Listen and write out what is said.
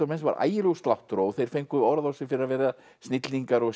menn sem var ægilegur sláttur á og þeir fengu orð á sig fyrir að vera snillingar og